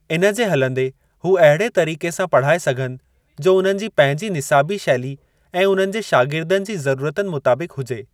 इनजे हलंदे हू अहिड़े तरीके सां पढ़ाए सघनि, जो उन्हनि जी पंहिंजी निसाबी शैली ऐं उन्हनि जे शागिर्दनि जी ज़रूरतुनि मुताबिक हुजे।